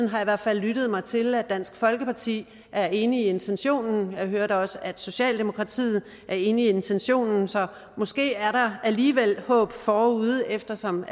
har i hvert fald lyttet mig til at dansk folkeparti er enige i intentionen jeg hørte også at socialdemokratiet er enige i intentionen så måske er der alligevel håb forude eftersom